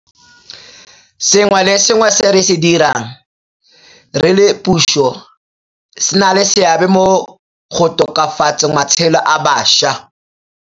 Sengwe le sengwe se re se dirang re le puso se na le seabe mo go tokafatseng matshelo a bašwa.